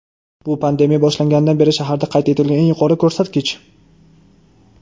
bu pandemiya boshlanganidan beri shaharda qayd etilgan eng yuqori ko‘rsatkich.